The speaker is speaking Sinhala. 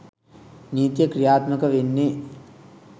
නීතිය ක්‍රියාත්මක වෙන්නේ.